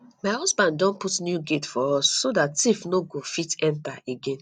my husband don put new gate for us so dat thief no go fit enter again